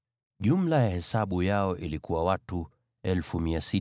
Jumla ya hesabu yao ilikuwa watu 603,550.